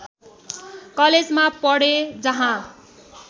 कलेजमा पढे जहाँ